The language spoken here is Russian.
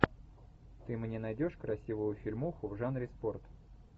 ты мне найдешь красивую фильмуху в жанре спорт